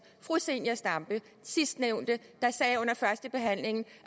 og fru zenia stampe sidstnævnte sagde under førstebehandlingen at